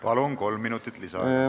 Palun, kolm minutit lisaaega!